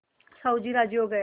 साहु जी राजी हो गये